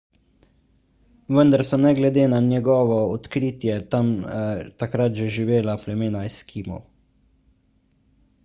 vendar so ne glede na njegovo odkritje tam takrat že živela plemena eskimov